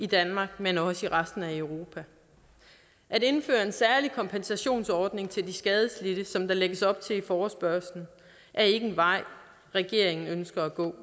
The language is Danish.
danmark men også resten af europa at indføre en særlig kompensationsordning til de skadelidte som der lægges op til i forespørgslen er ikke en vej regeringen ønsker at gå